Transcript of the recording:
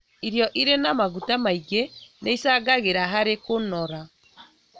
Irio irĩ na maguta maingĩ nĩicangagĩra harĩ kũnora